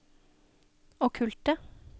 okkulte